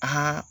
Aa